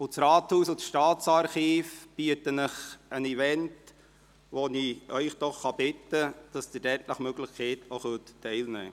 Das Rathaus und das Staatsarchiv bieten Ihnen einen Event, und ich bitte Sie, nach Möglichkeit auch daran teilzunehmen.